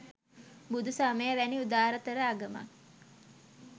බුදු සමය වැනි උදාරතර ආගමක්